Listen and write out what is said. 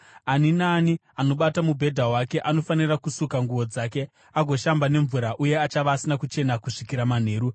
Ani naani anobata mubhedha wake anofanira kusuka nguo dzake agoshamba nemvura uye achava asina kuchena kusvikira manheru.